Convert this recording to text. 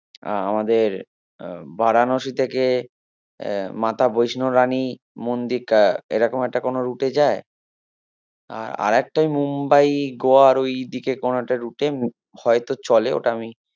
আহ আমাদের বারানসি থেকে আহ মাতা বৈষ্ণবরানি মন্দিকা এরকম একটা কোনো route এ যায় আ~ আরেকটা ওই মুম্বাই গোয়ার ওই দিকে কোনো একটা route হয়তো চলে ওটা আমি